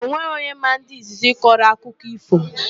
Onweghị onye maa ndị izizi kọrọ akụkọ ífò.